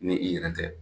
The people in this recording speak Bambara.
Ni i yɛrɛ tɛ